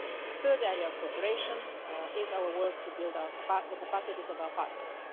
The third area of cooperation is our work to build the capacities of our partners.